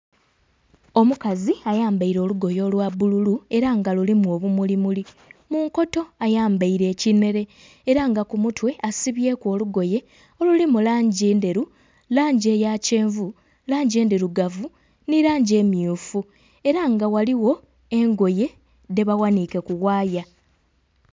Omukazi ayambaire olugoye olwa bbululu era nga lulimu obumuli muli, munkoto ayambaire ekinhere era nga ku mutwe asibyeku olugoye oluli mu langi endheru, langi eya kyenvu, langi endhirugavu nhi langi emmyufu era nga ghaligho engoye dhe baghanhike ku waaya.